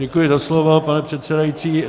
Děkuji za slovo, pane předsedající.